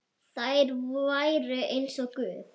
Þær væru eins og guð.